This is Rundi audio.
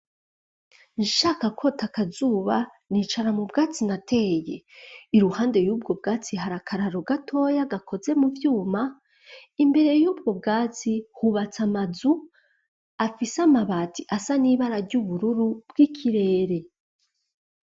Nshaka kwota akazuba nicara mu bwatsi nateye, iruhande y'ubwo bwatsi hari akararo gatoya gakoze mu vyuma, imbere yubwo bwatsi hubatse amazu afise amabati asa n'ibara ry'ubururu bw'ikirere.